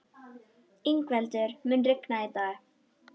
Yngveldur, mun rigna í dag?